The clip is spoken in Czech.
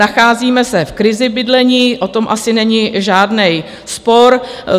Nacházíme se v krizi bydlení, o tom asi není žádný spor.